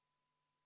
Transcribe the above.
Head kolleegid!